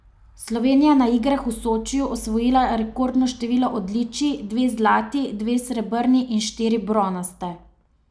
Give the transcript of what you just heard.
Slovenija je na igrah v Sočiju osvojila rekordno število odličij, dve zlati, dve srebrni ter štiri bronaste.